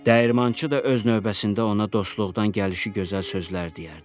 Dəyirmançı da öz növbəsində ona dostluqdan gəlişi gözəl sözlər deyərdi.